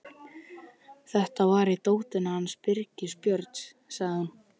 Þetta var í dótinu hans Birgis Björns, sagði hún.